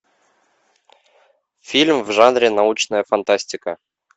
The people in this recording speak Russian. фильм в жанре научная фантастика